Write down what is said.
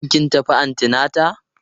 Shin kin tafi antinata?